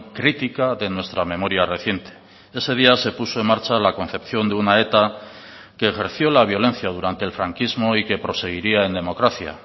crítica de nuestra memoria reciente ese día se puso en marcha la concepción de una eta que ejerció la violencia durante el franquismo y que proseguiría en democracia